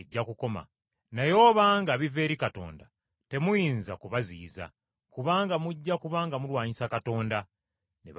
Naye obanga biva eri Katonda, temuyinza kubaziyiza, kubanga mujja kuba nga mulwanyisa Katonda.” Ne bamuwulira.